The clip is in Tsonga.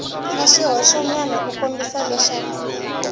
na swihoxonyana ku kombisa leswaku